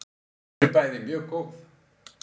Þau eru bæði mjög góð.